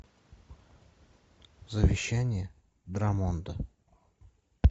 завещание драмонда